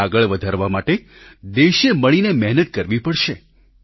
તેને આગળ વધારવા માટે દેશે મળીને મહેનત કરવી પડશે